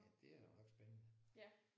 Ja det er jo ret spændende